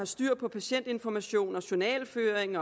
styr på patientinformation journalføring